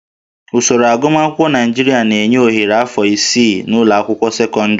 Usoro agụmakwụkwọ Naịjirịa na-enye ohere afọ isii n'ụlọ akwụkwọ sekọndịrị